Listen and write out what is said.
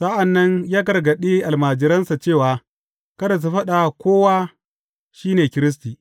Sa’an nan ya gargaɗe almajiransa cewa kada su faɗa wa kowa shi ne Kiristi.